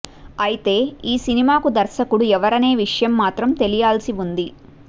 అయితే ఈ సినిమాకు దర్శకుడు ఎవరనే విషయం మాత్రం తెలియాల్సి ఉంది